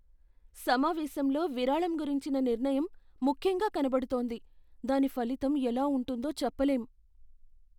సమావేశంలో విరాళం గురించిన నిర్ణయం ముఖ్యంగా కనబడుతోంది, దాని ఫలితం ఎలా ఉంటుందో చెప్పలేం.